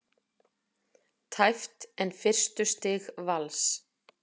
Tæpt en fyrstu stig Vals